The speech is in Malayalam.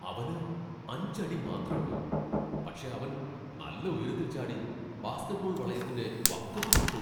അവന് അഞ്ച് അടി മാത്രേള്ളൂ. പക്ഷേ അവൻ നല്ല ഉയരത്തിൽ ചാടി ബാസ്കറ്റ്ബോൾ വളയത്തിന്റെ വക്കത്ത് തൊട്ടു .